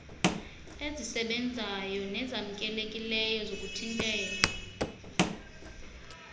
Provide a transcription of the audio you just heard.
ezisebenzayo nezamkelekileyo zokuthintela